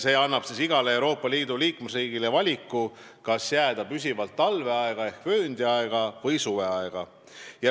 See annab igale Euroopa Liidu liikmesriigile valiku, kas jääda püsivalt talveaega ehk vööndiaega või suveaega.